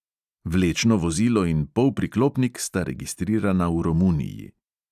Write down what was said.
Vlečno vozilo in polpriklopnik sta registrirana v romuniji.